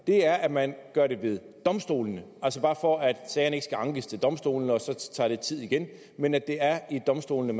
er at man gør det ved domstolene altså bare for at sagerne ikke skal ankes til domstolene og de så tager tid igen men at det er ved domstolene